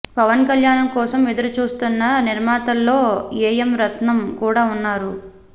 పవన్ కళ్యాణ్ కోసం ఎదురుచూస్తున్న నిర్మాతల్లో ఏఎం రత్నం కూడా ఉన్నారు